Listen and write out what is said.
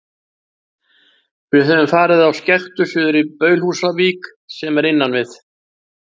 Við höfðum farið á skektu suður í Baulhúsavík, sem er innan við